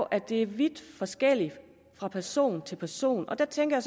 at det er vidt forskelligt fra person til person og der tænker